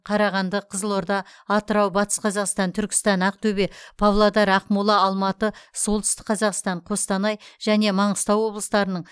қарағанды қызылорда атырау батыс қазақстан түркістан ақтөбе павлодар ақмола алматы солтүстік қазақстан қостанай және маңғыстау облыстарының